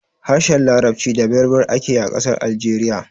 Harshen larabci da berber ake yi a ƙasar Algeriya